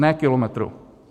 Ne kilometrů.